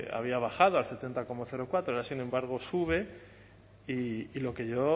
había bajado al setenta coma cuatro ahora sin embargo sube y lo que yo